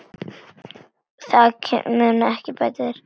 Það mun ég bæta þér.